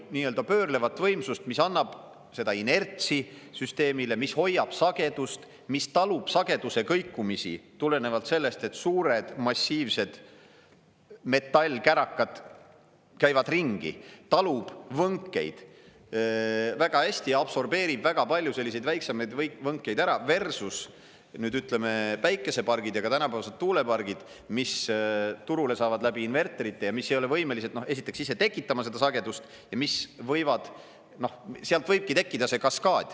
Kokku olid pöörlevad võimsust, mis annab seda inertsi süsteemile, mis hoiab sagedust, mis talub sageduse kõikumisi tulenevalt sellest, et suured massiivsed metallkärakad käivad ringi, talub võnkeid väga hästi, absorbeerib väga palju selliseid väiksemaid võnkeid ära versus nüüd, ütleme, päikesepargid ja ka tänapäevased tuulepargid, mis turule saavad läbi inverterite ja mis ei ole võimelised esiteks ise tekitama seda sagedust ja sealt võibki tekkida see kaskaad.